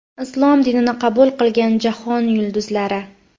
Islom dinini qabul qilgan jahon yulduzlari .